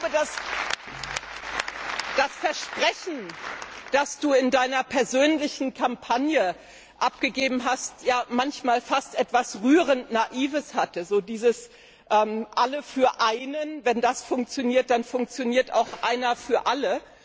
Das Versprechen, das Du in Deiner persönlichen Kampagne abgegeben hast, hatte manchmal fast etwas rührend Naives Wenn dieses Alle für Einen funktioniert, dann funktioniert auch das Einer für Alle.